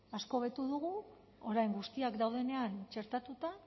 asko hobetu dugu orain guztiak daudenean txertatuta